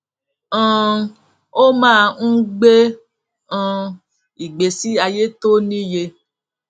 um ó máa ń gbé um ìgbésí ayé tó níye